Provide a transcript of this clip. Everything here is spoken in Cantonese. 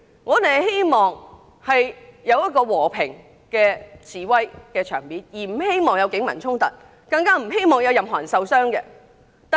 我們希望有一個和平示威的場面，不希望出現警民衝突，更不希望有任何人受傷。